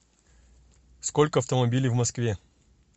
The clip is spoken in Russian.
сколько автомобилей в москве